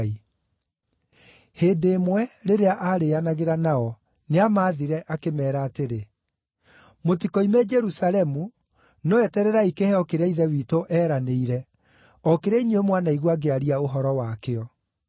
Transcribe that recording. Hĩndĩ ĩmwe, rĩrĩa aarĩĩanagĩra nao, nĩamathire, akĩmeera atĩrĩ: “Mũtikoime Jerusalemu, no etererai kĩheo kĩrĩa Ithe witũ eeranĩire, o kĩrĩa inyuĩ mwanaigua ngĩaria ũhoro wakĩo.